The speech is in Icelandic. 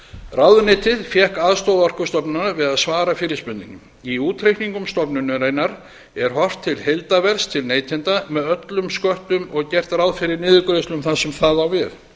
ráðuneytið fékk aðstoð orkustofnunar við að svara fyrirspurninni í útreikningum stofnunarinnar er horft til heildarverðs til neytenda með öllum sköttum og gert ráð fyrir niðurgreiðslum þar sem það á við